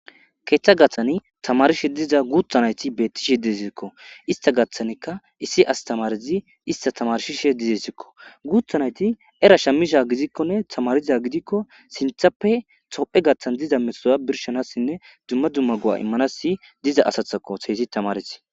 Keeththa gaththani tamarishe diza guuthanayti bettishe desikko ista gaththanekka issi astamarizi ista tamarshishe dizessikko guuthanayti era shammisha gizikkonne tamariza gidikko sinthappe tophe gaththan diza mesoa birshanassinne dumma dumma gu'a immanasi diza asathako seysi tamaris